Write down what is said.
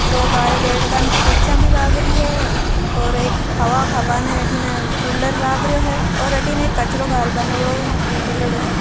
दो बारे पेड़ कुर्सियां भी लागरी है और एक हवा खाबा ने एक अठीने कूलर लाग रो है और अठीने कचरो घालण बा रो मेळेडो है।